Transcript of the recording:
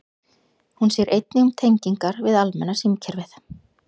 Hún sér einnig um tengingar við almenna símkerfið.